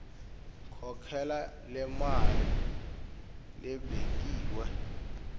khokhela lemali lebekiwe